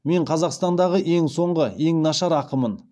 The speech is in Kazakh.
мен қазақстандағы ең соңғы ең нашар ақынмын